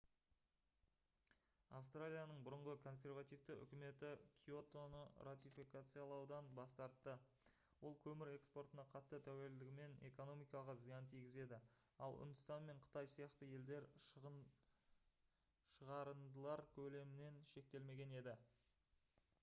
австралияның бұрынғы консервативті үкіметі киотоны ратификациялаудан бас тартты ол көмір экспортына қатты тәуелділігімен экономикаға зиян тигізеді ал үндістан мен қытай сияқты елдер шығарындылар көлемімен шектелмеген еді